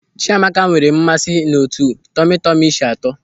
Chiamaka nwere mmasị n'etu tọmi tọmi si atọ.